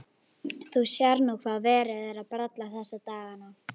Þú sérð nú hvað verið er að bralla þessa dagana.